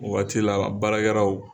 O Waati la baarakɛlaw